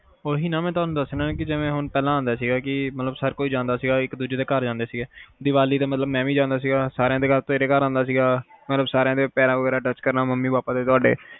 ਓਹੀ ਨਾ ਮੈਂ ਥੋਨੂੰ ਦਸਣਾ ਕੇ ਜਿਵੇ ਪਹਿਲਾ ਹੁੰਦਾ ਸੀ ਮਤਲਬ ਹਰ ਕੋਈ ਜਾਂਦੈ ਸੀ ਇਕ ਦੂਜੇ ਦੇ ਘਰ ਦੀਵਾਲੀ ਤੇ ਮੈਂ ਵੀ ਜਾਂਦਾ ਸੀ ਸਾਰਿਆਂ ਦੇ ਘਰ ਤੇਰੇ ਘਰ ਆਉਂਦਾ ਸੀ ਸਬ ਦੇ ਪੈਰ ਵਗੈਰਾ touch ਕਰਨਾ, ਮਮੀ ਪਾਪਾ ਦੇ ਤੁਹਾਡੇ